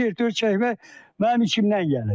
Çertyo çəkmək mənim içimdən gəlir.